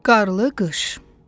Qarlı qış.